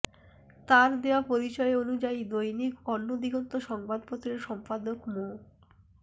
তার দেওয়া পরিচয় অনুযায়ী দৈনিক অন্য দিগন্ত সংবাদপত্রের সম্পাদক মো